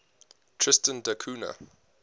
tristan da cunha